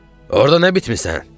Orda nə bitmisən?